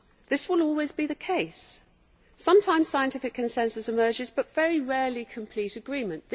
This will always be the case. Sometimes scientific consensus emerges, but very rarely complete agreement.